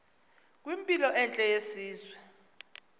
kwimpilo entle yesizwe